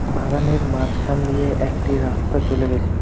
বাগানের মাঝখান দিয়ে একটি রাস্তা চলে গেছে।